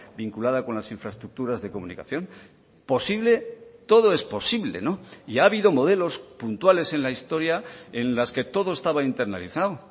vinculada con las infraestructuras de comunicación posible todo es posible y ha habido modelos puntuales en la historia en las que todo estaba internalizado